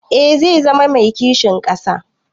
Eh zai zama mai kishin ƙasa.